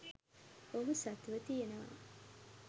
ඔහු සතුව තියෙනවා.